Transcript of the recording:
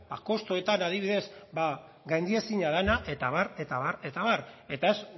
kostuetan adibidez gaindiezina dena eta abar eta abar eta abar eta ez